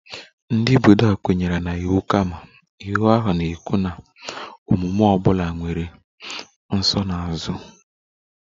Ndị Buddha kwenyere na iwu karma, iwu ahụ na-ekwu na omume ọ bụla nwere nsonaazụ